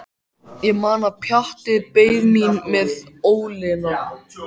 Ég man að Pjatti beið mín með ólina.